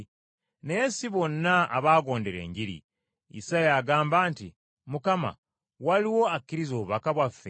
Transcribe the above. Naye si bonna abaagondera Enjiri. Isaaya agamba nti, “Mukama, waliwo akkirizza obubaka bwaffe?”